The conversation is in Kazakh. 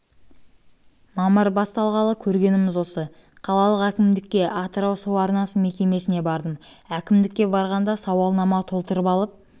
мамыр басталғалы көргеніміз осы қалалық әкімдікке атырау су арнасы мекемесіне бардым әкімдікке барғанда сауалнама толтыртып алып